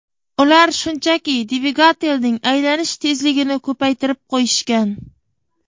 Ular shunchaki dvigatelning aylanish tezligini ko‘paytirib qo‘yishgan.